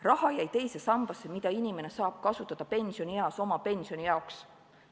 Raha jäi teise sambasse, mida inimene saab kasutada pensionieas oma pensioni jaoks.